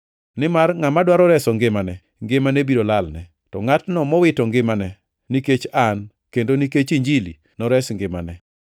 Nimar ngʼama dwaro reso ngimane, ngimane biro lalne, to ngʼatno mowito ngimane nikech an kendo nikech Injili nores ngimane.